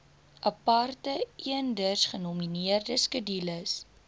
aparte eendersgenommerde skedules